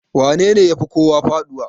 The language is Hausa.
wanene ya Fi kowa faduwa?